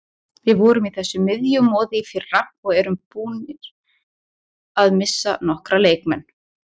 Við vorum í þessu miðjumoði í fyrra og erum búnir að missa nokkra leikmenn.